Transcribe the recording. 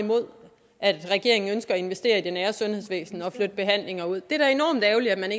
imod at regeringen ønsker at investere i det nære sundhedsvæsen og flytte behandlinger ud det er da enormt ærgerligt at man